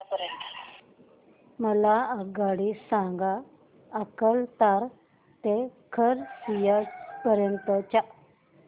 मला आगगाडी सांगा अकलतरा ते खरसिया पर्यंत च्या